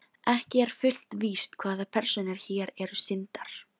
Ekki er fullvíst hvaða persónur hér eru sýndar.